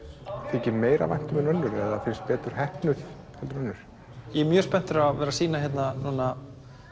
þykir meira vænt um en önnur eða finnst betur heppnuð en önnur ég er mjög spenntur að vera sýna hérna núna